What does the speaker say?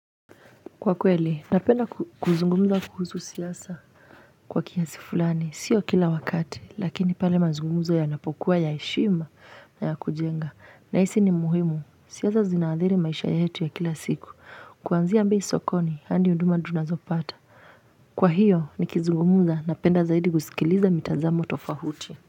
Kwa kweli, napenda kuzungumza kuhusu siasa. Kwa kiasi fulani, sio kila wakati, lakini pale mazungumzo yanapokuwa ya heshima na ya kujenga. Na hisi ni muhimu, siasa zinaadhiri maisha yetu ya kila siku. Kuanzia bei sokoni, hadi huduma tunazopata. Kwa hiyo, nikizungumuza napenda zaidi kusikiliza mitazamo tofauti.